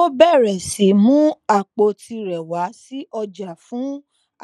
ó bẹrẹ sí mú àpò tirẹ wá sí ọjà fún